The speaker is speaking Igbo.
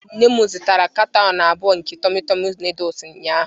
Nne m zụtara kanton abụọ nke tummy tummy noodles ụnyaahụ.